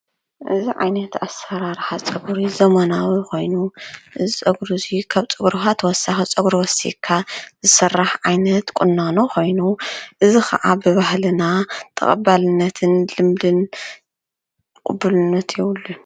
እዚዓይነት ኣሰራርሓ ጸጕሪ ዘመናዊ ኾይኑ፣ እዚ ፀጉሪ እዚ ካብ ፀጕርኻ ተወሳኺ ጸጕሪ ወሲኽካ ዝስራሕ ዓይነት ቊናኖ ኾይኑ ፣እዚ ኸዓ ብባህልና ተቐባልነትን ልምድን ቕቡልነትን የብሉን፡፡